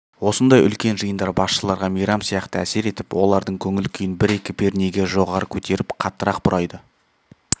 осындай үлкен жиындар басшыларға мейрам сияқты әсер етіп олардың көңіл-күйін бір-екі пернеге жоғары көтеріп қаттырақ бұрайды